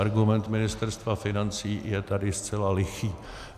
Argument Ministerstva financí je tady zcela lichý.